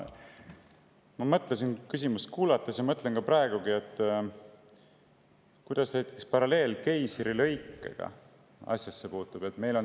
Ma mõtlesin küsimust kuulates ja mõtlen praegugi, et kuidas see paralleel keisrilõikega asjasse puutub.